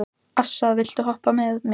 Assa, viltu hoppa með mér?